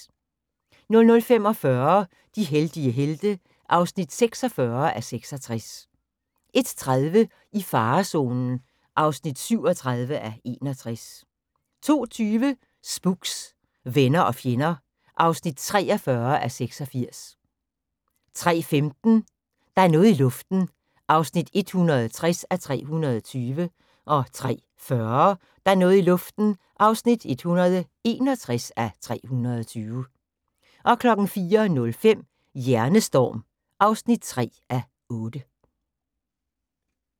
00:45: De heldige helte (46:66) 01:30: I farezonen (37:61) 02:20: Spooks: Venner og fjender (43:86) 03:15: Der er noget i luften (160:320) 03:40: Der er noget i luften (161:320) 04:05: Hjernestorm (3:8)